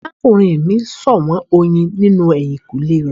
Arakunrin mi ṣọwọn oyin ninu ehinkunle rẹ